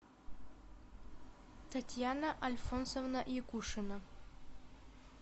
татьяна альфонсовна якушина